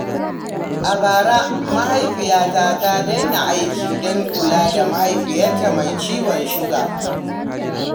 A bara, mahaifiyata ta daina aiki don kula da mahaifinta mai ciwon suga.